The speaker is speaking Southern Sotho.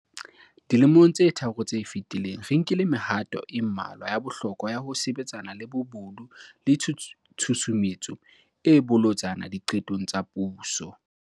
Dilemong tse tharo tse fetileng, re nkile mehato e mmalwa ya bohlokwa ya ho sebetsana le bobodu le tshusumetso e bolotsana diqetong tsa puso.